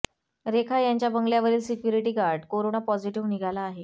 रेखा यांच्या बंगल्यावरील security guard corona positive निघाला आहे